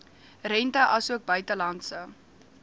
rente asook buitelandse